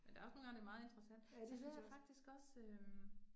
Men der også nogle gange, det meget interessant, så hører jeg faktisk også øh